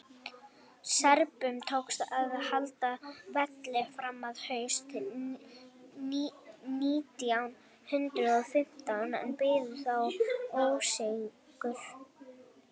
serbum tókst að halda velli fram á haust nítján hundrað og fimmtán en biðu þá ósigur